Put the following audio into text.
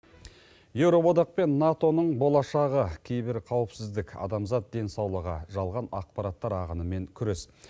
евроодақ пен нато ның болашағы кейбір қаупсіздік адамзат денсаулығы жалған ақпараттар ағынымен күрес